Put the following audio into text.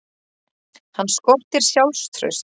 Hann skortir sjálfstraust.